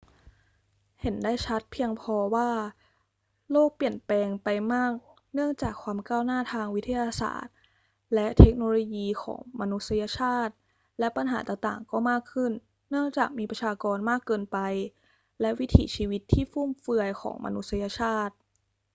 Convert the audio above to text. เห็นได้ชัดเพียงพอว่าโลกเปลี่ยนแปลงไปมากเนื่องจากความก้าวหน้าทางวิทยาศาสตร์และเทคโนโลยีของมนุษยชาติ และปัญหาต่าง ๆ ก็มากขึ้นเนื่องจากมีประชากรมากเกินไปและวิถีชีวิตที่ฟุ่มเฟือยของมนุษยชาติ